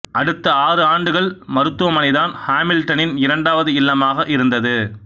அடுத்த ஆறு ஆண்டுகள் மருத்துவமனைதான் ஹாமில்டனின் இரண்டாவது இல்லமாக இருந்தது